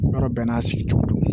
Yɔrɔ bɛɛ n'a sigi cogo do